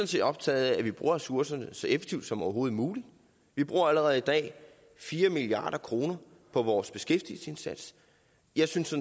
set optaget af at vi bruger ressourcerne så effektivt som overhovedet muligt vi bruger allerede i dag fire milliard kroner på vores beskæftigelsesindsats jeg synes